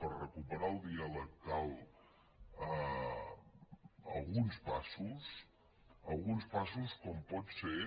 per recuperar el diàleg calen alguns passos alguns passos com poden ser